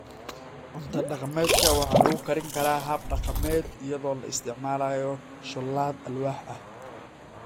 Cunto-dhaqameedka waxaa lagu karin karaa hab dhaqameed iyadoo la isticmaalayo shoolad alwaax ah.